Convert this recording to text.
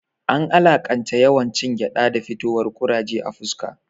An alaƙanta yawan cin gyaɗa da fitowar kuraje a fuska